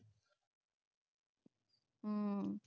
ਹੂ